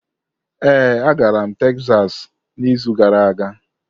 Ee, agara m Tekzas n'izu gara aga.